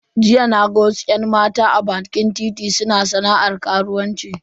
Jiya naga wasu yan mata a bakin titi suna sana'ar karuwanci.